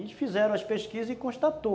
E fizeram as pesquisas e constatou.